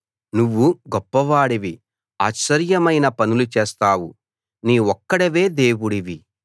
నువ్వు గొప్ప వాడివి ఆశ్చర్యమైన పనులు చేస్తావు నీవొక్కడివే దేవుడివి